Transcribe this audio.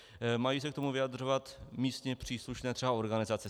Mají se k tomu vyjadřovat místně příslušné třeba organizace.